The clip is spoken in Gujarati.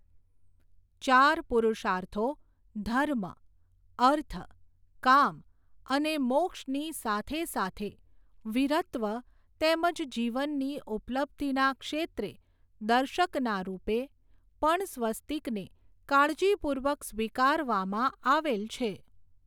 ચાર પુરૂષાર્થો ધર્મ, અર્થ, કામ અને મોક્ષની સાથે સાથે, વીરત્વ તેમજ જીવનની ઉપલબ્ધીના ક્ષેત્રે, દર્શકનાં રૂપે, પણ સ્વસ્તિકને કાળજી પૂર્વક સ્વીકારવામાં આવેલ છે.